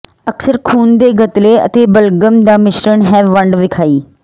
ਅਕਸਰ ਖੂਨ ਦੇ ਗਤਲੇ ਅਤੇ ਬਲਗਮ ਦਾ ਮਿਸ਼ਰਣ ਹੈ ਵੰਡ ਵਿਖਾਈ